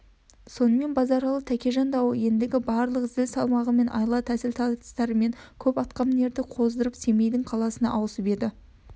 сонымен базаралы тәкежан дауы ендігі барлық зіл салмағымен айла-тәсіл тартыстарымен көп атқамінерді қоздырып семейдің қаласына ауысып еді